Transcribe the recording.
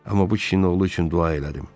Amma bu kişinin oğlu üçün dua elədim.